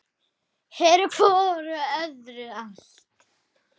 Eru hvor annarri allt.